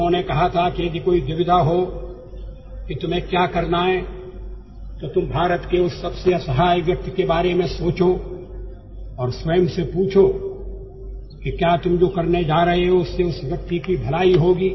उन्होंने कहा था कि यदि कोई दुविधा हो कि तुम्हें क्या करना है तो तुम भारत के उस सबसे असहाय व्यक्ति के बारे में सोचो और स्वयं से पूछो कि क्या तुम जो करने जा रहे हो उससे उस व्यक्ति की भलाई होगी